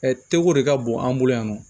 teko de ka bon an bolo yan nɔ